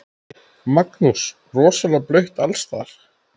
Magnús: Rosalega blautt alls staðar?